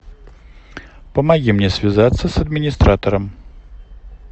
помоги мне связаться с администратором